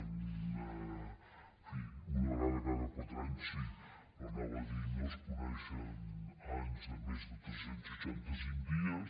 en fi una vegada cada quatre anys sí però anava a dir que no es coneixen anys de més de tres cents i seixanta cinc dies